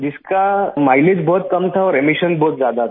जिसका माइलेज बहुत कम था और एमिशन बहुत ज्यादा था